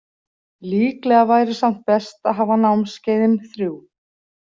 Líklega væri samt best að hafa námskeiðin þrjú.